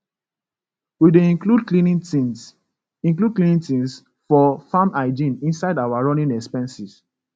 we dey include cleaning things include cleaning things for farm hygiene inside our running expenses